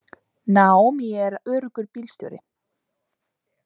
Naomi er öruggur bílstjóri.